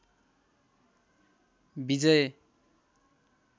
विजय